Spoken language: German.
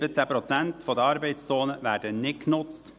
17 Prozent der Arbeitszonen werden nicht genutzt.